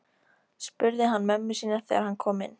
spurði hann mömmu sína þegar hann kom inn.